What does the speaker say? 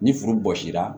Ni furu bɔsi la